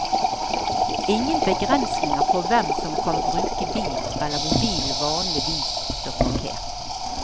Ingen begrensninger på hvem som kan bruke bilen eller hvor bilen vanligvis står parkert.